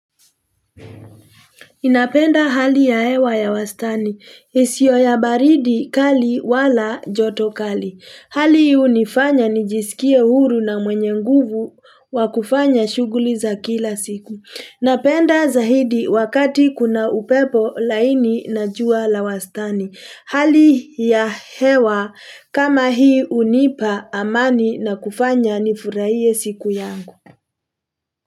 Ninapenda hali ya hewa ya wastani. Isio ya baridi kali wala joto kali. Hali hii hunifanya nijisikie huru na mwenye nguvu wa kufanya shughuli za kila siku. Napenda zahidi wakati kuna upepo laini na jua la wastani. Hali ya hewa kama hii hunipa amani na kufanya nifurahie siku yangu.